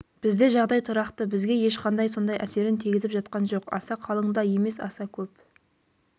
бізде жағдай тұрақты бізге ешқандай сондай әсерін тигізіп жатқан жоқ аса қалың да емес аса көп